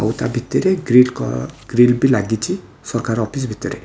ଆଉ ତା ଭିତରେ ଗ୍ରୀଡ଼ କ ଗ୍ରିଲ ବି ଲାଗିଚି ସରକାର ଅଫିସ ଭିତରେ।